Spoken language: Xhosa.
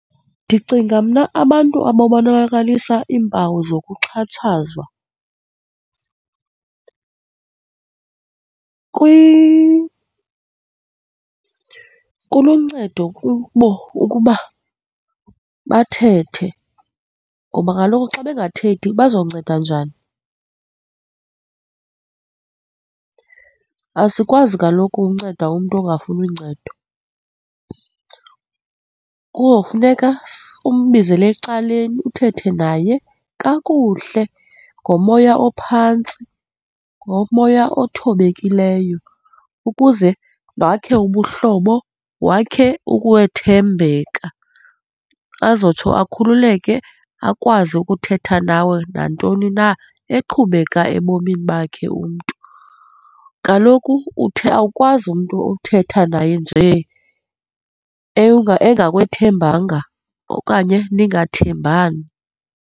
Ndicinga mna abantu abonakalisa iimpawu zokuxhatshazwa kuluncedo kubo ukuba bathethe ngoba kaloku xa bengathethi bazokuncedwa njani? Asikwazi kaloku unceda umntu ungafuni uncedo. Kuzofuneka umbizele ecaleni, uthethe naye kakuhle ngomoya ophantsi, ngomoya othobekileyo ukuze wakhe ubuhlobo, wakhe ukwethembeka, azotsho akhululeke akwazi ukuthetha nawe nantoni na eqhubeka ebomini bakhe umntu. Kaloku uthi awukwazi umntu uthetha naye nje engakwethembanga okanye ningathengambani.